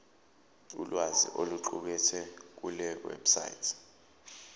ulwazi oluqukethwe kulewebsite